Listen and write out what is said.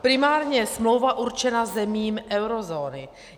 Primárně je smlouva určena zemím eurozóny.